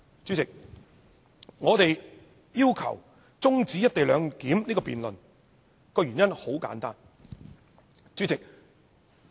主席，我們要求中止"一地兩檢"議案辯論的原因很簡單。